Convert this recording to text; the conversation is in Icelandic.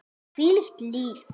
Hvílíkt líf!